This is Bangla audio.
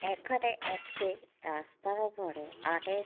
এখানে একটি রাস্তার উপরে আর এক --